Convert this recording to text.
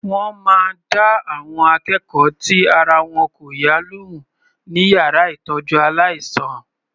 Wọ́n máa dá àwọn akẹ́kọ̀ọ́ tí ara wọn kò yá lóhùn ní yàrá ìtọ́jú aláìsàn.